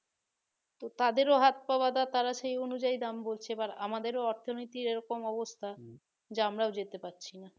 তো তাদেরও হাত-পা বাঁধা তারা সে অনুযায়ী বলছে বা আমাদের অর্থনীতি এমন অবস্থা যে আমরা যেতে পারছি না